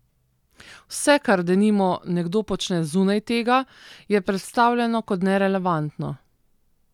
Vse, kar denimo nekdo počne zunaj tega, je predstavljeno kot nerelevantno.